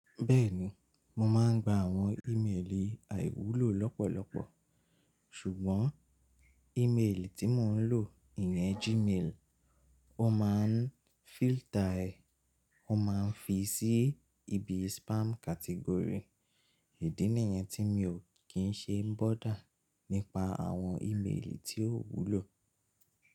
Bẹ́ẹ̀ni, mo máa ń gba àwọn ìméèlì àìwúlò lọ́pọ̀lọpọ̀ ṣùgbọ́n ìméèlì tí mò ń lò ìyẹn Gmail, ó máa ń fílter ẹ, ó máa ń fi sí ibi spam category. Èdí nìyẹn tí mi ò kí ń ṣe ń bọ̀da nípa àwọn ìméèlì tí ó wúlò.